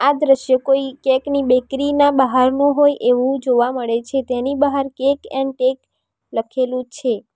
આ દ્રશ્ય કોઈ કેક ની બેકરી ના બહારનું હોય એવું જોવા મળે છે તેની બહાર કેક એન્ડ ટેક લખેલું છે.